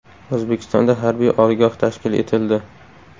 O‘zbekistonda harbiy oliygoh tashkil etildi.